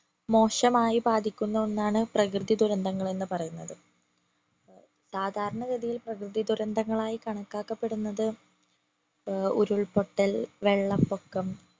മോശമായി ബാധിക്കുന്ന ഒന്നാണ് പ്രകൃതി ദുരന്തങ്ങൾ എന്ന് പറയുന്നത് സാധാരണ ഗതിയിൽ പ്രകൃതി ദുരന്തങ്ങളായി കണക്കാക്കപ്പെടുന്നത് ഏർ ഉരുൾപൊട്ടൽ വെള്ളപ്പൊക്കം